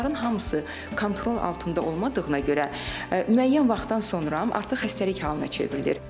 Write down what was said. Bunların hamısı kontrol altında olmadığına görə, müəyyən vaxtdan sonra artıq xəstəlik halına çevrilir.